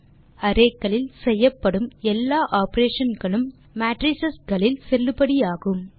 இப்படியாக அரே களில் செய்யப்படும் எல்லா ஆப்பரேஷன் களும் மேட்ரைஸ் களில் செல்லுபடியாகும்